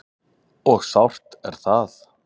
Og sárt er það.